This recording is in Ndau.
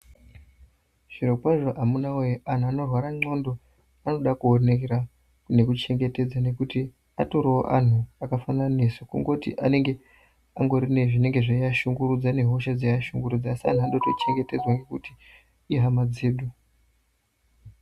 Zvinokwazvo amunawee anhu anorwara ndxondo anoda kuonera nekuchengetedza, nekuti atoriwo anhu akafanana nesu kungoti anenge angori nezvinoashungurudza nehosha dzinoashungurudza asi anoda kutochengetedzwa ngekuti ihama dzedu.